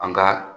An ka